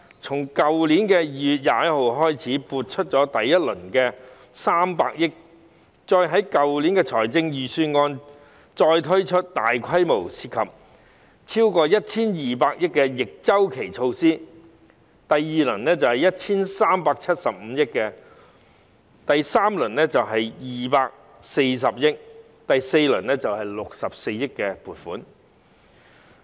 從去年2月21日開始撥出第一輪的300億元，再於去年的預算案推出大規模、涉及超過 1,200 億元的逆周期措施，第二輪措施的撥款是 1,375 億元，第三輪是240億元，第四輪則是64億元。